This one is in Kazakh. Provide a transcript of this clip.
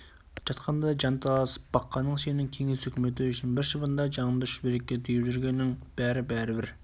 жатқандай жанталасып баққаның сенің кеңес өкіметі үшін бір шыбындай жаныңды шүберекке түйіп жүргенің бәрі-бәрі бір